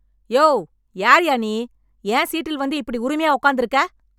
யோவ் யார்யா நீ என் சீட்டில் வந்து இப்படி உரிமையா உட்கார்ந்திருக்க